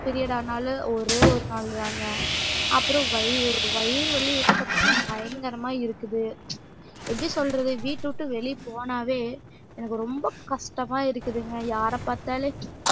period ஆனாலும் ஒரேயொரு நாள்தாங்க அப்றோம் வைர் வயிறு வலிவந்து பாத்திங்கன்னா பயங்கரம்மா இருக்குது எப்டி சொல்றது வீட்டவுட்டு வெளியே போனாவே எனக்கு ரொம்ப கஷ்டம்மா இருக்குதுங்க யார பாத்தாலே